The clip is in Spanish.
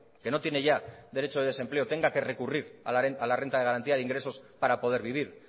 que no tiene ya derecho de desempleo tenga que recurrir a la renta de garantía de ingresos para poder vivir